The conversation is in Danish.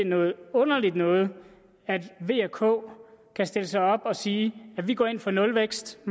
noget underligt noget at v og k kan stille sig op og sige at de går ind for nulvækst